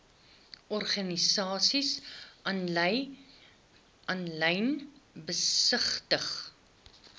organisasies aanlyn besigtig